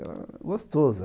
Era gostoso.